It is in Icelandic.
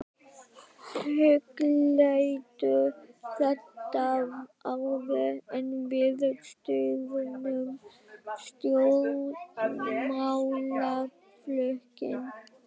Hugleiddu þetta áður en við stofnum stjórnmálaflokkinn!